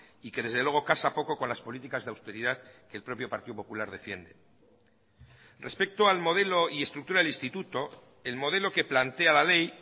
y que desde luego casa poco con las políticas de austeridad que el propio partido popular defiende respecto al modelo y estructura del instituto el modelo que plantea la ley